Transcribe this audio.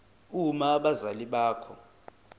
uma abazali bakho